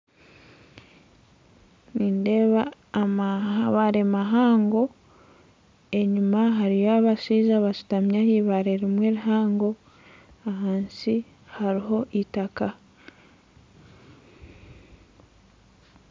Nindeeba amabare mahango enyuma hariyo abashaija bashutami ah'ibare rimwe rihango ahansi haruho itaka